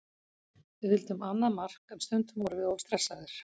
Við vildum annað mark en stundum vorum við of stressaðir.